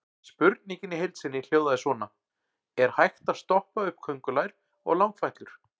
Spurningin í heild sinni hljóðaði svona: Er hægt að stoppa upp köngulær og langfætlur?